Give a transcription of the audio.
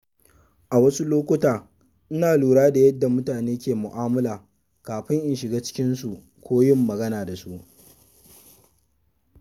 A wasu lokuta, ina lura da yadda mutane ke mu’amala kafin in shiga cikinsu ko yin magana da su.